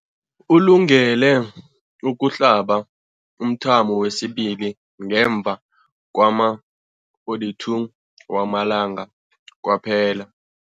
Ulungele ukuhlaba umthamo wesibili ngemva kwama-42 wamalanga kwaphela.